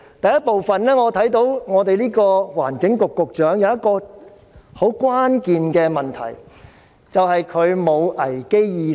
第一，我看到環境局局長有一個很關鍵的問題，便是他沒有危機意識。